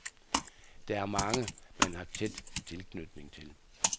Der er mange, man har tæt tilknytning til.